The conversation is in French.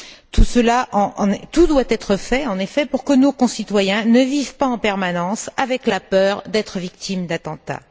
Tout doit être fait, en effet, pour que nos concitoyens ne vivent pas en permanence avec la peur d'être victimes d'attentats.